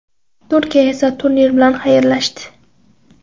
Turkiya esa turnir bilan xayrlashdi.